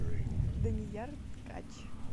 данияр ткач